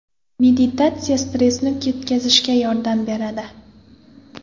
Meditatsiya stressni ketkazishga yordam beradi.